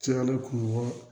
Cayalen kuru ɲɔgɔn